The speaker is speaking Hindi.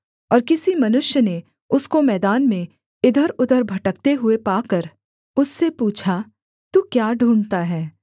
और किसी मनुष्य ने उसको मैदान में इधरउधर भटकते हुए पाकर उससे पूछा तू क्या ढूँढ़ता है